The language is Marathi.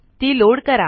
ती लोड करा